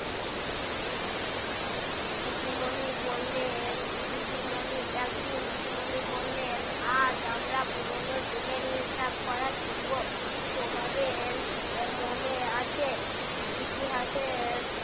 দিদিমণি বললেন দিদিমণি একদিন দিদিমণি বললেন আজ আমরা পুরনো দিনের হিসাব করা শিখব তোমাদের মনে আছে ইতিহাসের